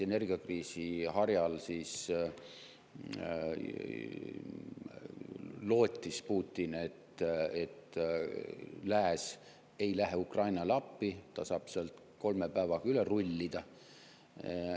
Energiakriisi harjal Putin lootis, et lääs ei lähe Ukrainale appi ja et ta saab sealt kolme päevaga üle rullida.